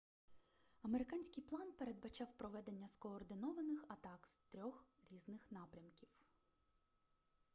американський план передбачав проведення скоординованих атак з 3 різних напрямків